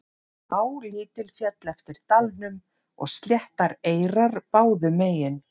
Á lítil féll eftir dalnum og sléttar eyrar báðum megin.